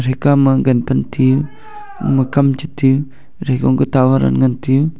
ekhama gan pan tiu ema kam chetiu athre kawma tower un ngan tiu.